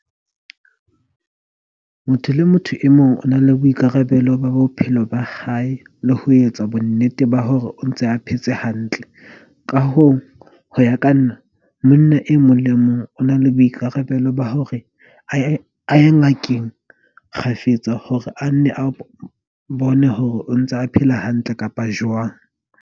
Motho le motho e mong o na le boikarabelo ba bophelo ba hae le ho etsa bonnete ba hore o ntse a phetse hantle. Ka hoo, ho ya ka nna, monna e mong le e mong o na le boikarabelo ba hore a ye ngakeng kgafetsa hore a nne a bone hore o ntse a phela hantle kapa jwang.